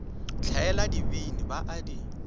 hlaela dibini ba a di